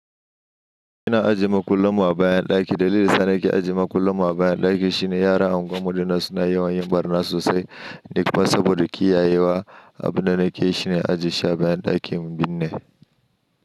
Ina aje makullanmu a bayan ɗaki. Dalilin sanar ke aje makullanmu a bayan ɗaki shine yara unguwar mu dinnan suna yawan yin ɓarna sosai. Nika fa saboda kiyayewa. Abunda nake shine aje shi bayan ɗakin binne.